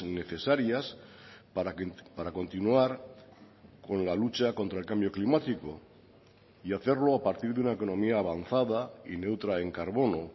necesarias para continuar con la lucha contra el cambio climático y hacerlo a partir de una economía avanzada y neutra en carbono